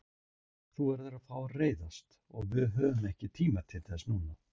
Þú verður að fá að reiðast og við höfum ekki tíma til þess núna.